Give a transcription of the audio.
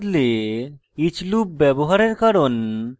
for এর বদলে each loop ব্যবহারের কারণ